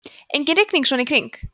engin rigning svona í kring